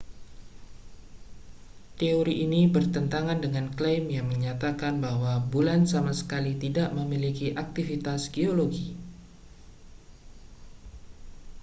teori ini bertentangan dengan klaim yang menyatakan bahwa bulan sama sekali tidak memiliki aktivitas geologi